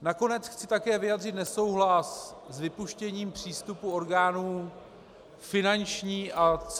Nakonec chci také vyjádřit nesouhlas s vypuštěním přístupu orgánů Finanční a Celní správy -